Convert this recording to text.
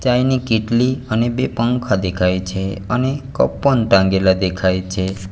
ચાઈની કેટલી અને બે પંખા દેખાય છે અને કપ પણ ટાંગેલા દેખાય છે.